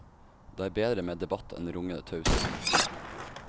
Det er bedre med debatt enn rungende taushet. punktum